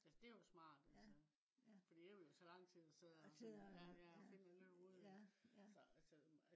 altså det jo smart altså. fordi det ville jo tage lang tid at sidde og ja ja finde alle hovederne